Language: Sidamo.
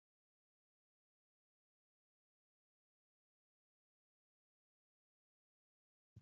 konnira biiffanno misileeti tini